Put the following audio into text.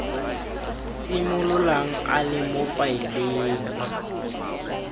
simololang a le mo faeleng